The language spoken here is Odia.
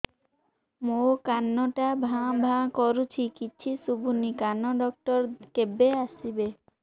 ମୋ କାନ ଟା ଭାଁ ଭାଁ କରୁଛି କିଛି ଶୁଭୁନି କାନ ଡକ୍ଟର କେବେ ଆସିବେ